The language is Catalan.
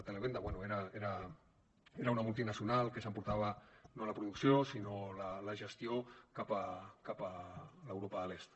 televenda bé era una multinacional que s’emportava no la producció sinó la gestió cap a l’europa de l’est